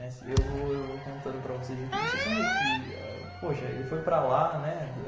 Eu vou eu vou contando para vocês aqui, vocês vão ver que... Poxa, ele foi para lá, né?